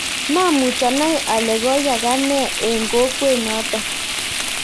maamuch anai ale koyaaka ne eng kokwet noto